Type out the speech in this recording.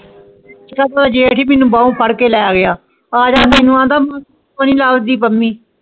ਏਦਾਂ ਥੇ ਜੇਠਾ ਹੀ ਮੈਨੂੰ ਬ ਫ਼ਾਰ ਕੇ ਲੈ ਗਯਾ ਆ ਜਾਂਦਾ ਪੰਮੀ